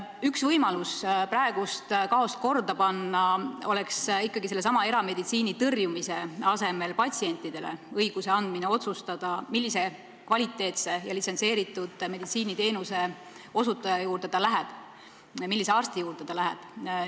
Üks võimalusi praeguses kaoses korda luua oleks ikkagi erameditsiini tõrjumise asemel anda patsiendile õigus otsustada, millise kvaliteetse ja litsentseeritud meditsiiniteenuse osutaja juurde ta läheb, millise arsti juurde ta läheb.